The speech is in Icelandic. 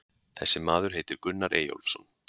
Þessi maður heitir Gunnar Eyjólfsson.